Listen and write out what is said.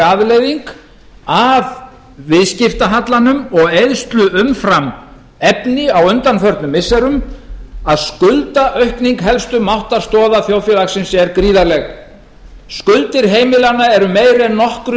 afleiðing af viðskiptahallanum og eyðslu umfram efni á undanförnum missirum að skuldaaukning helstu máttarstoða þjóðfélagsins er gríðarleg skuldir heimilanna eru meiri en nokkru